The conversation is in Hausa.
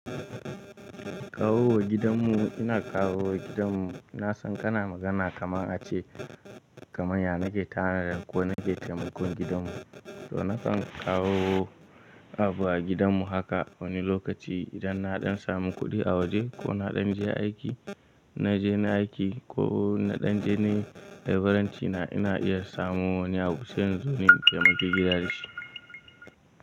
Kawowa gidanmu, ina kawowa gidanmu. Na san kana magana kaman a ce kaman ya nake tanadar ko nake taimakon gidanmu. So na kan kawowo abu a gidanmu haka wani lokaci idan na ɗan samu kuɗi a waje ko na ɗan je aiki, na je na aiki ko na ɗan je nai labiranci na, ina iya samowa wani abu sai in zo ni taimaki gidanshi.